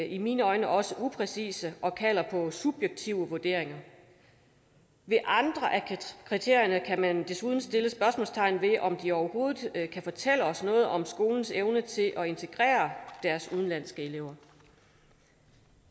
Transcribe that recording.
i mine øjne også er upræcise og kalder på subjektive vurderinger ved andre af kriterierne kan man desuden sætte spørgsmålstegn ved om de overhovedet kan fortælle os noget om skolens evne til at integrere deres udenlandske elever